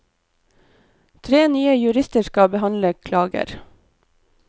Tre nye jurister skal behandle klager.